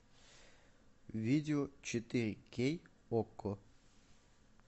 видео четыре кей окко